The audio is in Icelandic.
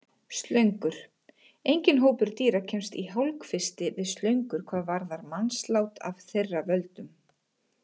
Slöngur Enginn hópur dýra kemst í hálfkvisti við slöngur hvað varðar mannslát af þeirra völdum.